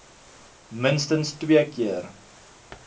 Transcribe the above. minstens twee keer